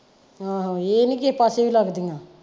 ਹਾਂ ਇਹ ਨਹੀਂ ਕਿਸੇ ਪਾਸੇ ਵੀ ਲੱਗਦੀਆਂ।